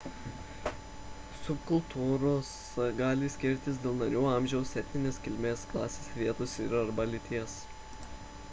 subkultūros gali skirtis dėl narių amžiaus etninės kilmės klasės vietos ir arba lyties